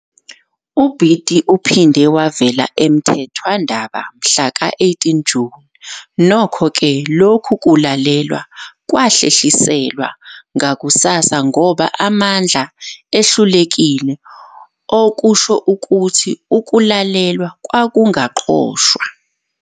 UBiti uphinde wavela emthethwandaba mhlaka 18 June, nokho-ke lokhu kulalelwa kwahlehliselwa ngakusasa ngoba amandla ehlulekile, okusho ukuthi ukulalelwa kwakungaqoshwa.